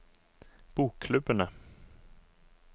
bokklubbene